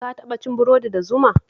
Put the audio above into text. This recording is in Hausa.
Ka taɓa cin burodi da zuma?